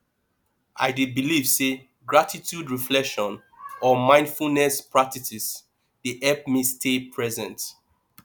i dey believe say gratitude reflection or mindfulness practices dey help me stay present